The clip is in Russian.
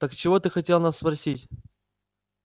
так чего ты хотел нас спросить